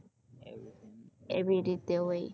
એવી રીતે હોય